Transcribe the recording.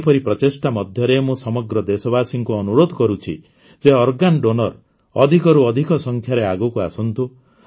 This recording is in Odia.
ଏହିପରି ପ୍ରଚେଷ୍ଟା ମଧ୍ୟରେ ମୁଁ ସମଗ୍ର ଦେଶବାସୀଙ୍କୁ ଅନୁରୋଧ କରୁଛି ଯେ କ୍ଟକ୍ସଶବଦ୍ଭ ୟକ୍ଟଦ୍ଭକ୍ଟକ୍ସ ଅଧିକରୁ ଅଧିକ ସଂଖ୍ୟାରେ ଆଗକୁ ଆସନ୍ତୁ